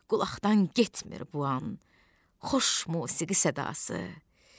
Qulaqdan getmir bu an xoş musiqi sədası.